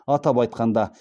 атап айтқанда